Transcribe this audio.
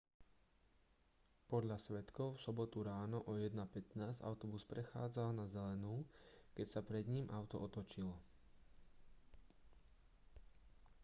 podľa svedkov v sobotu ráno o 1:15 autobus prechádzal na zelenú keď sa pred ním auto otočilo